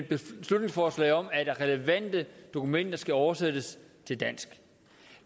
beslutningsforslag om at relevante dokumenter skal oversættes til dansk